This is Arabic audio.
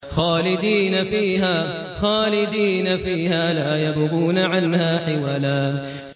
خَالِدِينَ فِيهَا لَا يَبْغُونَ عَنْهَا حِوَلًا